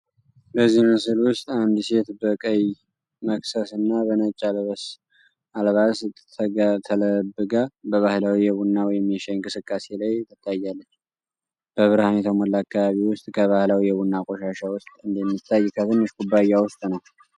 በዚህ ምስል ውስጥ አንድ ሴት በቀይ መክሰስ እና በነጭ አልባሳ ተለብጋ በባህላዊ የቡና ወይም የሻይ እንቅስቃሴ ላይ ታይታለች። በብርሃን የተሞላ አካባቢ ውስጥ ከባህላዊ የቡና ቆሻሻ ውስጥ እንደሚታይ ከትንሽ ኩባያ ውስጥ ነው።